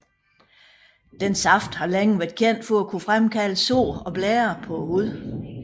Dens saft har længe været kendt for at kunne fremkalde sår og blærer på huden